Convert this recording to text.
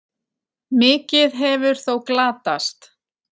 Mikið hefur þó glatast.